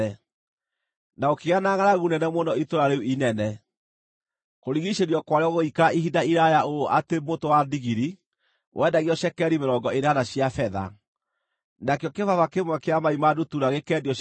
Na gũkĩgĩa na ngʼaragu nene mũno itũũra rĩu inene. Kũrigiicĩrio kwarĩo gũgĩikara ihinda iraaya ũũ atĩ mũtwe wa ndigiri wendagio cekeri mĩrongo ĩnana cia betha, nakĩo kĩbaba kĩmwe kĩa mai ma ndutura gĩkeendio cekeri ithano.